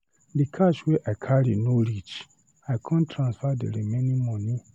Di cash wey I carry no reach I come transfer di remaining moni.